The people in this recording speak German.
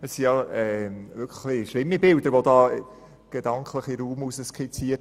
Hier wurden wirklich schlimme Bilder gedanklich in den Raum projiziert.